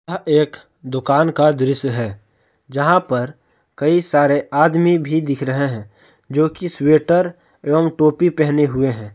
यह एक दोकान का दृश्य है यहां पर कई सारे आदमी भी दिख रहे हैं जो कि स्वेटर एवं टोपी पहने हुए है।